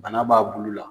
Bana b'a bulu la